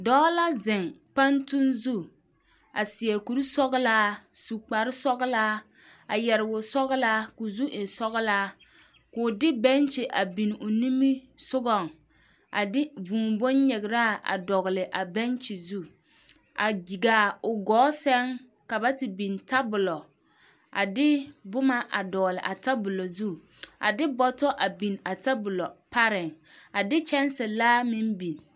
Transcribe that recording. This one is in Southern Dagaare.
Dɔɔ la zeŋ pantuŋ zu a seɛ kuri sɔgelaa, su kpare sɔgelaa a yɛre wosɔgelaa k'o zu e sɔgelaa k'o de bɛnkyi a biŋ o nimisogɔŋ a de vūū bonyigiraa a dɔgele a bɛnkyi zu a gaa o gɔɔ sɛŋ ka ba te biŋ tabolo a de boma a dɔgele a tabolo zu a de bɔtɔ a biŋ a tabolo pareŋ, a de kyɛnsilaa meŋ biŋ.